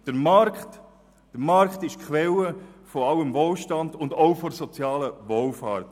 Der Markt ist die Quelle sämtlichen Wohlstands und auch der sozialen Wohlfahrt.